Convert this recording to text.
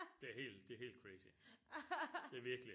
Det er helt det er helt crazy det er virkelig